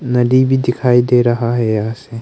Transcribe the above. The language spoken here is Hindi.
नदी भी दिखाई दे रहा है यहां से।